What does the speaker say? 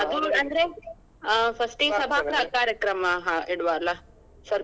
ಅದು ಅಂದ್ರೆ ಹ first ಗೆ ಇಡುವ ಅಲ್ಲ ಸ್ವಲ್ಪ.